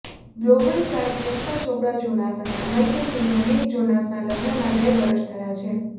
global star Priyanka Chopra Jonas અને American singer Nick જોનસના લગ્નના બે વર્ષ થયા છે